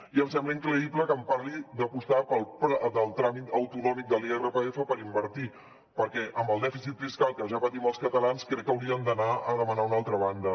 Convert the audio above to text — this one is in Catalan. i em sembla increïble que em parli d’apostar pel tram autonòmic de l’irpf per invertir perquè amb el dèficit fiscal que ja patim els catalans crec que haurien d’anar a demanar a una altra banda